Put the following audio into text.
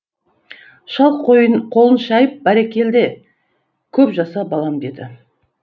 шал қолын шайып бәрекелде кеп жаса балам деді